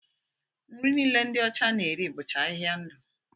Nri niile ndi ọcha na-eri bụcha ahịhịa ndụ